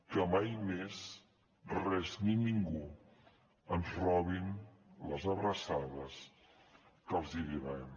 que mai més res ni ningú ens robi les abraçades que els devem